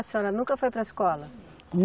A senhora nunca foi para a escola?